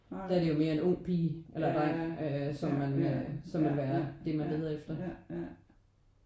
Der er det jo mere en ung pige eller en dreng som man som vil være det man leder efter